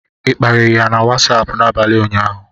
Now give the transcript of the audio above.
ị kparịrị ya na Wasapụ n'abalị ụnyaahụ?